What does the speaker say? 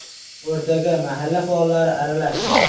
O‘rtaga mahalla faollari aralashdi.